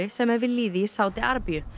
sem er við lýði í Sádi Arabíu